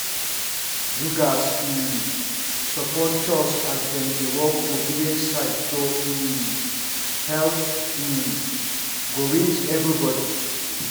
you gatz um support chws as dem dey do work for village side so um health um go reach everybody.